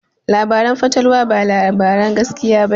Labaran fatalwa ba labaran gaskiya ba ne.